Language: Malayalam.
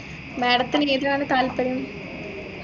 madam ത്തിനു ഏതിലാണ് താല്പര്യം